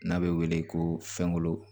N'a bɛ wele ko fɛnkolon